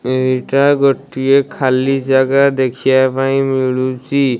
ଏଇଟା ଗୋଟିଏ ଖାଲି ଯାଗା ଦେଖିଆ ପାଇଁ ମିଳୁଚି ।